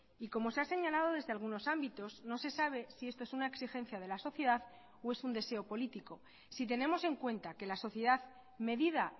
y como se ha señalado desde algunos ámbitos no se sabe si esto es una exigencia de la sociedad o es un deseo político si tenemos en cuenta que la sociedad medida